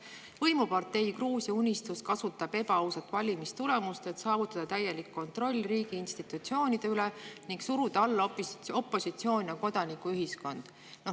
… võimupartei Gruusia Unistus kasutab ebaausat valimistulemust, et saavutada täielik kontroll riigi institutsioonide üle ning suruda alla opositsioon ja kodanikuühiskond.